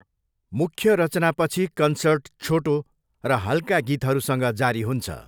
मुख्य रचनापछि कन्सर्ट छोटो र हल्का गीतहरूसँग जारी हुन्छ।